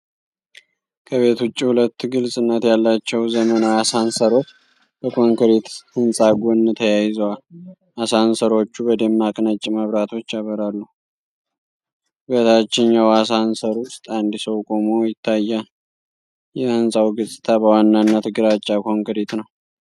ከቤት ውጭ ሁለት ግልጽነት ያላቸው፣ ዘመናዊ አሳንሰሮች በኮንክሪት ህንፃ ጎን ተያይዘዋል። አሳንሰሮቹ በደማቅ ነጭ መብራቶች ያበራሉ። በታችኛው አሳንሰር ውስጥ አንድ ሰው ቆሞ ይታያል። የሕንፃው ገጽታ በዋናነት ግራጫ ኮንክሪት ነው።